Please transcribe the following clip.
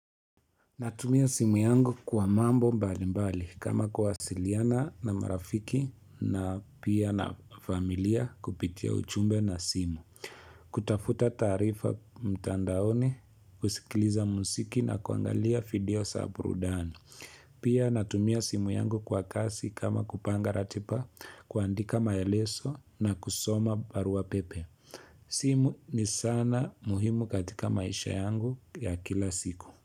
Natumia simu yangu kwa mambo mbali mbali kama kuwasiliana na marafiki, na pia na familia kupitia ujumbe na simu. Kutafuta taarifa mtandaoni, kusikiliza muziki na kuangalia video za burudani. Pia natumia simu yangu kwa kazi kama kupanga ratiba, kuandika maelezo na kusoma barua pepe. Simu ni sana muhimu katika maisha yangu ya kila siku.